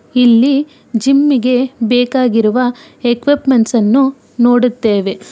ಇಲ್ಲಿ ಜಿಮ್ಮಿಗೆ ಬೇಕಾಗಿರುವ ಇಕ್ವಿಪ್ಮೆಂಟ್ಸ್ ಅನ್ನು ನೋಡುತ್ತೇವೆ.